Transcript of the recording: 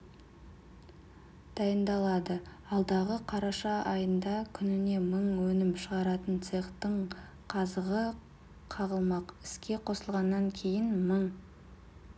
дайындалады алдағы қараша айында күніне мың өнім шығаратын цехтың қазығы қағылмақ іске қосылғаннан кейін мың